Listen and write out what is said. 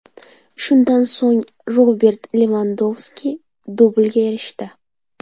Shundan so‘ng Robert Levandovski dublga erishdi.